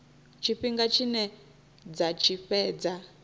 tshifhinga tshine dza tshi fhedza